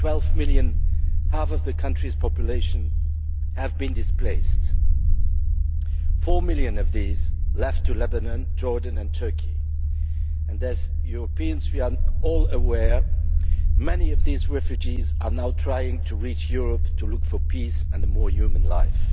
12 million half of the country's population have been displaced. Four million of these have left to Lebanon, Jordan and Turkey, and as Europeans we are all aware that many of these refugees are now trying to reach Europe in search of peace and a more human life.